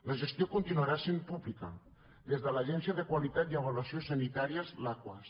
la gestió continuarà sent pública des de l’agència de qualitat i avaluació sanitàries l’aquas